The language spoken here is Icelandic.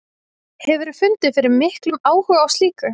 Hefurðu fundið fyrir miklum áhuga á slíku?